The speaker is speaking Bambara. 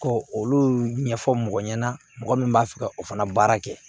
Ko olu ɲɛfɔ mɔgɔ ɲɛna mɔgɔ min b'a fɛ ka o fana baara kɛ